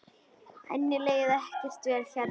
Henni leið ekkert vel hérna.